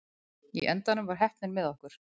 Í endanum var heppnin með okkur.